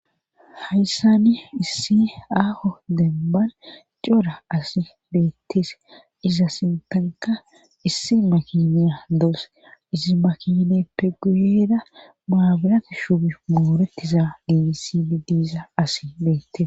hayssani issi aaho demban cora asi beetteese iza sintanka issi makiniya dawuse isi makineppe guyeera maaburate shuboy moorettiza gigisidi diza asi beettes